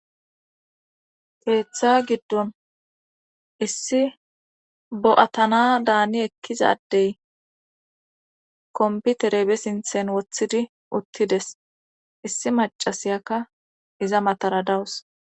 Keeththa giddon issi bo'atana daani ekkizadey komputere be sinthen woththidi uttides issi macasiyakka iza matara dawus.